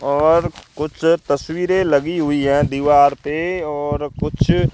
और कुछ तस्वीरें लगी हुई हैं दीवार पे और कुछ--